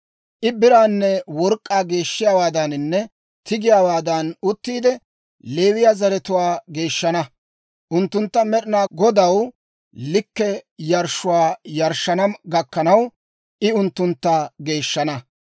I biraanne work'k'aa geeshshiyaawaadaaninne tigiyaawaadan uttiide, Leewiyaa zaratuwaa geeshshana; unttunttu Med'ina Godaw likke yarshshuwaa yarshshana gakkanaw, I unttuntta geeshshana.